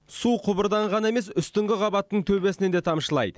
су құбырдан ғана емес үстіңгі қабаттың төбесінен де тамшылайды